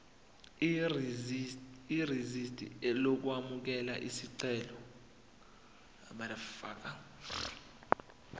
irisidi lokwamukela isicelo